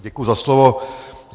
Děkuju za slovo.